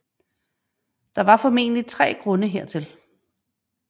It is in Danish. Der var formentlig tre grunde hertil